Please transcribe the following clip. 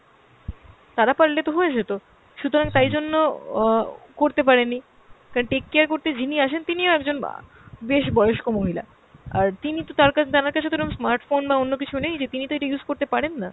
তারা পারলে তো হয়ে যেত, সুতরাং তাইজন্য অ করতে পারেনি, কারণ take care করতে যিনি আসেন তিনিও একজন অ্যাঁ বেশ বয়স্ক মহিলা। আর তিনি তো তার আমার কাছে তো ওরম smart phone বা অন্য কিছু নেই যে তিনি তো এটা use করতে পারেন না।